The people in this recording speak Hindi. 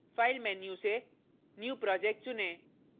file menu से new project चुनें